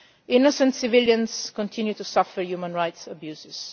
Innocent civilians continue to suffer human rights abuses.